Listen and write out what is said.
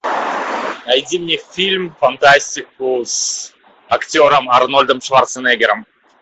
найди мне фильм фантастику с актером арнольдом шварценеггером